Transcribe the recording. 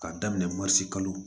K'a daminɛ kalo